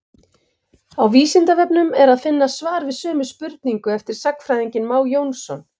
Á Vísindavefnum er að finna svar við sömu spurningu eftir sagnfræðinginn Má Jónsson.